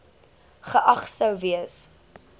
geag sou gewees